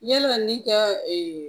Yala ne ka